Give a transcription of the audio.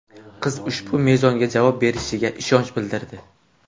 Qiz ushbu mezonga javob berishiga ishonch bildirdi.